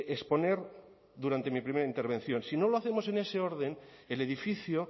exponer durante mi primera intervención si no lo hacemos en ese orden el edificio